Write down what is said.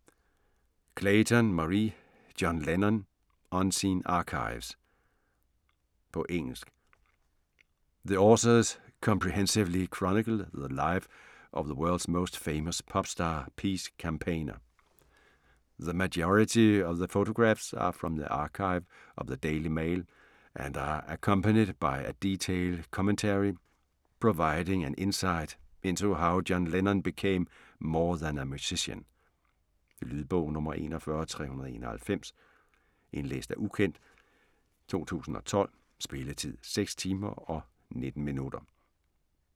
Clayton, Marie: John Lennon : unseen archives På engelsk. The authors comprehensively chronicle the life of the world's most famous pop-star peace campaigner. The majority of the photographs are from the archive of the Daily Mail and are accompanied by a detailed commentary, providing an insight into how John Lennon became more than a musician. Lydbog 41391 Indlæst af ukendt, 2012. Spilletid: 6 timer, 19 minutter.